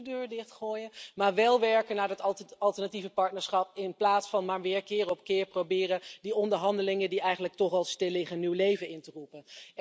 Dus niet de deur dichtgooien, maar wel werken aan dat alternatieve partnerschap, in plaats van maar weer keer op keer te proberen die onderhandelingen die eigenlijk toch al stilliggen nieuw leven in te blazen.